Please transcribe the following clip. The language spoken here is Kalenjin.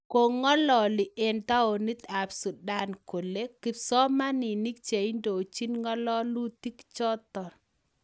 Kongalali eng taonit ab Sudan kole kipsomaninik cheindochin ng'alalutik chotok.